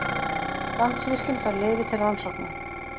Landsvirkjun fær leyfi til rannsókna